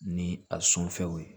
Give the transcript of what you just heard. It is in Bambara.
Ni a sɔn fɛnw ye